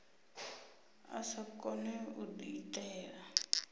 a sa kone u diitela